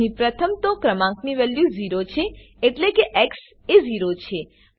અહીં પ્રથમ તો ક્રમાંકની વેલ્યુ 0 છે એટલે કે એક્સ એ 0 છે